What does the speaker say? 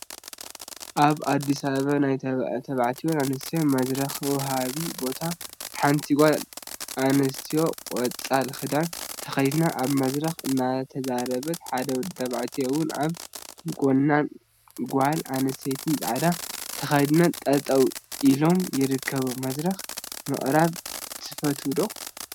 አብ አዲስ አበባ ናይ ተባዕትዮን አንስትዮን መድረክ መውሃቢ ቦታ ሓንቲ ጓል አንስተይቲ ቆፃል ክዳን ተከዲና አብ መድረክ እናተዛረበት፣ ሓደ ወዲ ተባዕታይ እውን አብ ጎናን ጓል አንስተይቲ ፃዕዳ ተከዲና ጠጠው ኢሎም ይርከቡ፡፡ መድረክ ምቅራብ ትፈትው ዶ?